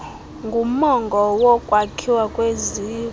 ngumongo wokwakhiwa kweziko